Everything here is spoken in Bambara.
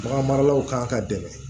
Bagan maralaw ka dɛmɛ